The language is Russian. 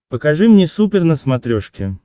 покажи мне супер на смотрешке